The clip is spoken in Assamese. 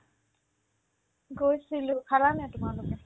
গৈছিলো, খালানে নাই তোমালোকে ?